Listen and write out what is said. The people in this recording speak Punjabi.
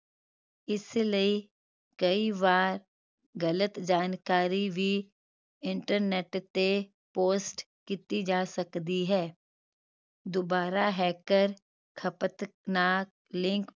ਇਸੇ ਲਈ ਕਈ ਵਾਰ ਗ਼ਲਤ ਜਾਣਕਾਰੀ ਵੀ internet ਤੇ post ਕਿੱਤੀ ਜਾ ਸਕਦੀ ਹੈ ਦੋਬਾਰਾ hacker ਖਪਤ ਨਾਲ link